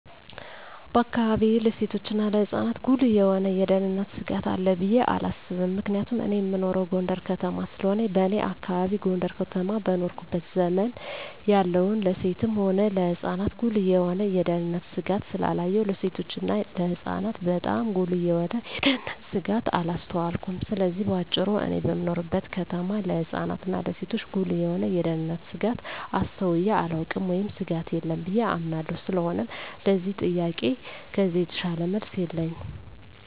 በአካባቢየ ለሴቶችና ለህጻናት ጉልህ የሆነ የደህንነት ስጋት አለ ብየ አላስብም ምክንያቱም እኔ እምኖረው ጎንደር ከተማ ስለሆነ በኔ አካባቢ ጎንደር ከተማ በኖርኩበት ዘመን ያየሁን ለሴትም ሆነ ለህጻን ጉልህ የሆነ የደህንነት ስጋት ስላላየሁ ለሴቶችና ለህጻናት ባጣም ጉልህ የሆነ የደንነት ስጋት አላስተዋልኩም ስለዚህ በአጭሩ እኔ በምኖርበት ከተማ ለህጻናት እና ለሴቶች ጉልህ የሆነ የደህንነት ስጋት አስተውየ አላውቅም ወይም ስጋት የለም ብየ አምናለሁ ስለሆነም ለዚህ ጥያቄ ከዚህ የተሻለ መልስ የለኝም።